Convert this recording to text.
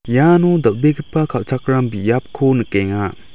iano dal·begipa kal·chakram biapko nikenga.